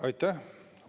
Aitäh!